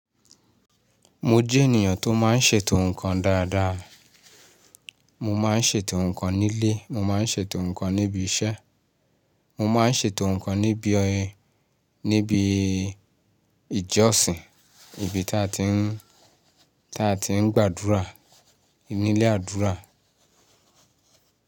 Mo jẹ́ ènìyàn tó máa ń ṣètò ǹkan dáadáa. Mo máa ń ṣètò ǹkan nílé, mo máa ń ṣètò ǹkan níbi iṣẹ́, mo máa ń ṣètò ǹkan níbi ọ̀yẹ́, níbi ìjọsìn, ibi tí a ti ń, tí a ti ń gbàdúrà, nílé àdúrà.